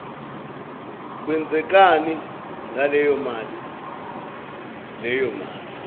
kwenzekani ngaleyomali leyomali